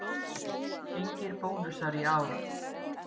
Engir bónusar í ár